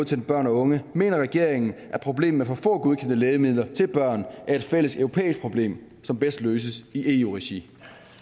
til børn og unge mener regeringen at problemet med for få godkendte lægemidler til børn er et fælles europæisk problem som bedst løses i eu regi